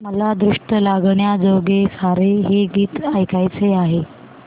मला दृष्ट लागण्याजोगे सारे हे गीत ऐकायचे आहे